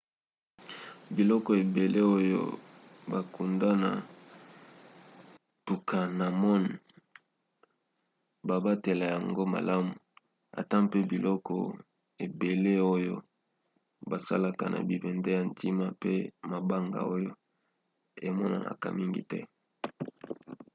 biloko ebele oyo bakunda na toutankhamon babatela yango malamu ata mpe biloko ebele oyo basala na bibende ya ntina pe mabanga oyo emonanaka mingi te